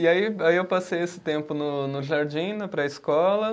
E aí, aí eu passei esse tempo no no jardim, na pré-escola.